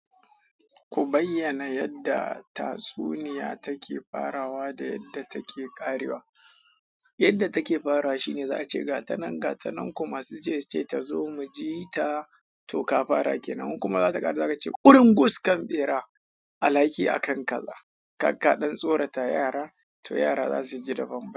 Ku bayyana yadda tatsuniya take farawa da yadda take ƙarewa. Yadda take farawa shine za a ce ga ta nan, ga ta nan kuma su je su ce ta zo mu ji ta to ka fara ke nan in kuma zakar za ka ce ƙurin gus kan bera. Alhaki akan kalla, kaka ɗan tsorata yara to yara za su ji daban.